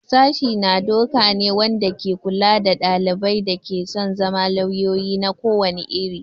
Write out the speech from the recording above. Sashi na doka ne wanda ke kula da ɗalibai da ke son zama lauyoyi na ko wani iri.